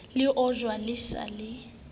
le ojwa le sa le